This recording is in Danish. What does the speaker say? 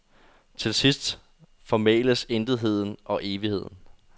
Til sidst formæles intetheden og evigheden.